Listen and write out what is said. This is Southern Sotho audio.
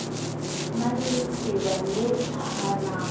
na le leqeba le hanang